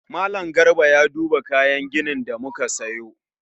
Mallam Garba ya duba kayan ginin da muka siyo